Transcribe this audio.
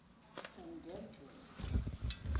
kungenzeka